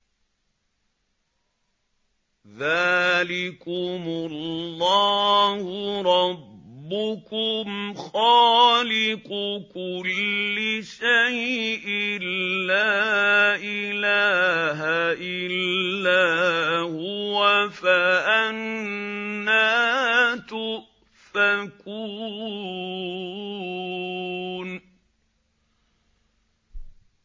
ذَٰلِكُمُ اللَّهُ رَبُّكُمْ خَالِقُ كُلِّ شَيْءٍ لَّا إِلَٰهَ إِلَّا هُوَ ۖ فَأَنَّىٰ تُؤْفَكُونَ